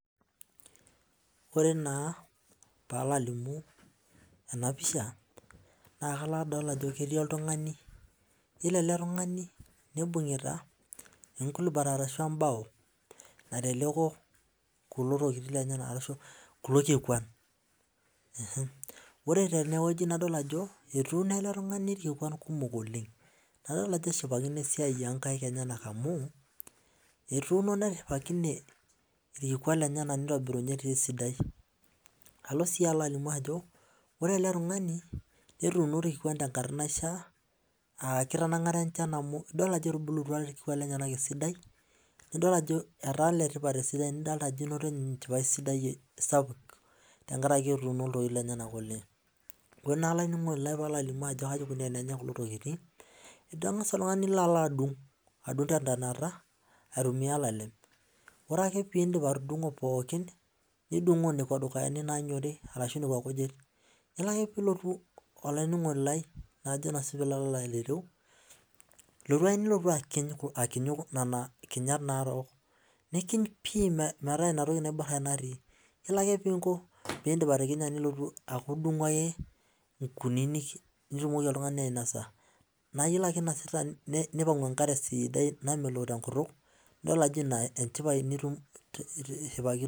Ore naa palo alimu enapisha na kalo adol ajo ketii oltungani ore eletungani nibungita entoki naijo embao naiteleko kulo tokitin lenyenak ashu kulo kikwan nidol ajo etuuno eletungani irkikuan kumok oleng nadol ajo eshipakino esiai onkaik enyenak amu etuuno nitobirinye irkikuan lenyenak oleng esidai alo si alimu ajo etuuno irkikuan tenkata enchan amu idol ajo etubulutua esidai nidil ajo etaa letipat nidol ajo inoto enchipae sapuk amu etuuno ntokitin enyenak ore olaininingoni lai ntokitin ingasa oltungani nilobadung tentanata aitumua olalem ore ake pindip atungo nekwa kujit ore ake pilotu olaininingoni lai na kajo si pilo aningu ilotu ake nilotu akinuu inatoki narok nikiny pii metaa inatoki natii iyolo ake ake pikiny peaku ilo ake nitumoki oltungani ainosa nioangu enkare sidai napuku tenkutuk na ina enchipae nishipakino.